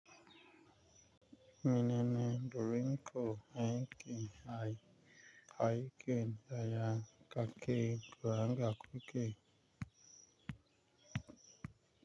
Menene Borinko Henki Hai Kaiken yaya kake Branga kuke.